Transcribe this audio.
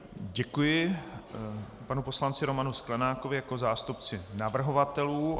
Děkuji panu poslanci Romanu Sklenákovi jako zástupci navrhovatelů.